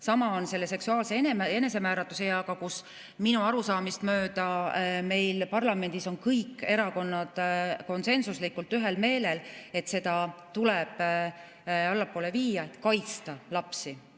Sama on seksuaalse enesemääratluse eaga, kus minu arusaamist mööda parlamendis on kõik erakonnad konsensuslikult ühel meelel, et seda tuleb poole viia, et kaitsta lapsi.